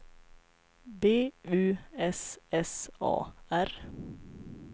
B U S S A R